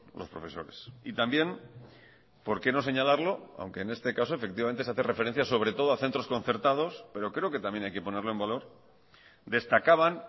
los profesores y también por qué no señalarlo aunque en este caso efectivamente se hace referencia sobre todo a centros concertados pero creo que también hay que ponerlo en valor destacaban